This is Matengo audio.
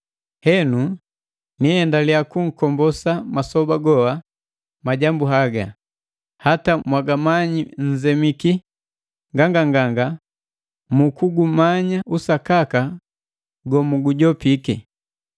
Henu, niendaliya kunkombosa masoba goa majambu haga, hata ngati mwagamanyi nzemiki nganganganga mu kugumanya usakaka gomugujopiki.